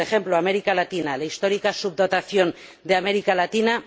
Por ejemplo, América Latina, la histórica subdotación de América Latina.